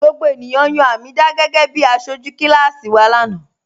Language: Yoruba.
Gbogbo ènìyàn yan Hameedah gẹgẹ̀bí àṣọju kilasi wa lana